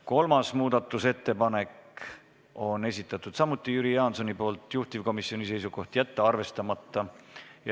Kolmanda muudatusettepaneku on esitanud samuti Jüri Jaanson, juhtivkomisjoni seisukoht: jätta arvestamata.